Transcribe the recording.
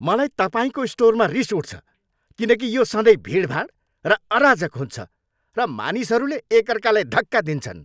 मलाई तपाईँको स्टोरमा रिस उठ्छ किनकि यो सधैँ भिडभाड र अराजक हुन्छ र मानिसहरूले एक अर्कालाई धक्का दिन्छन्।